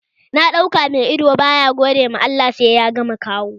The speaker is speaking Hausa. Na ɗauka mai ido baya gode ma Allah sai ya ga makaho?